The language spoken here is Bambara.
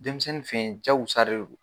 Denmisɛnnin fɛyen jakusare don.